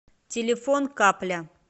телефон капля